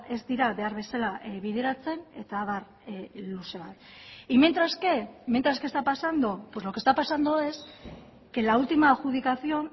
ez dira behar bezala bideratzen eta abar luze bat y mientras qué mientras qué está pasando pues lo que está pasando es que la ultima adjudicación